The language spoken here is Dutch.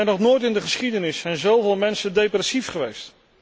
Nog nooit in de geschiedenis zijn zoveel mensen depressief geweest.